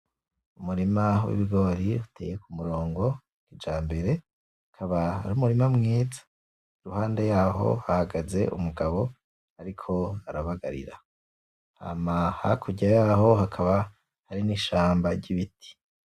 Umurima w'ibigori uteye ku murongo. Ica mbere, ukaba ari umurima mwiza, iruhande yaho hahagaze umugabo ariko arabagarira. Hama hakurya yaho hakaba hari n'ishamba ry'ibiti.